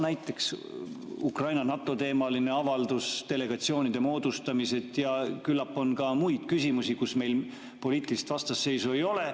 Näiteks Ukraina ja NATO teemaline avaldus, delegatsioonide moodustamised ja küllap on ka muid küsimusi, kus meil poliitilist vastasseisu ei ole.